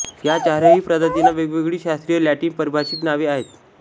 या चारही प्रजातींना वेगवेगळी शास्त्रीय लॅटिन पारिभाषिक नावे आहेत